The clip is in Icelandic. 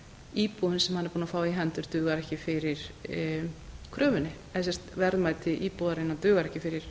ef boðin sem hann er búinn að fá í hendur eða sem sagt verðmæti íbúðarinnar dugar ekki fyrir